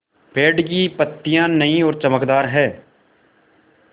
पेड़ की पतियां नई और चमकदार हैँ